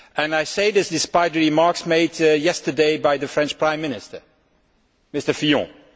I say this despite the remarks made yesterday by the French Prime Minister, Mr Fillon.